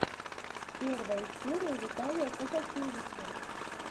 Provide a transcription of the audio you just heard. первая серия виталия казакевича